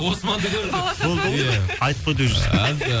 османды көрді иә айтып қойды уже